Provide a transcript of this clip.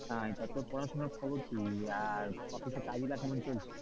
আহ তা তোর পড়াশোনা খবর কি আর office এ কাজগুলো কেমন চলছে?